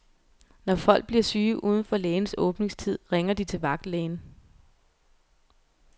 Når folk bliver syge udenfor lægens åbningstid, ringer de til vagtlægen.